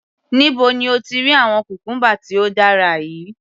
Níbo ni o ti rí àwọn cucumber tí ó dára yìí?.